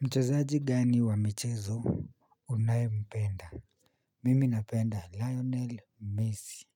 Mchezaji gani wa michezo unaye mpenda. Mimi napenda Lionel Messi.